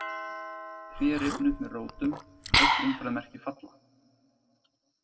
Tré rifna upp með rótum, öll umferðarmerki falla.